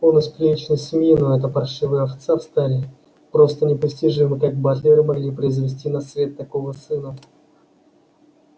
он из приличной семьи но эта паршивая овца в стаде просто непостижимо как батлеры могли произвести на свет такого сына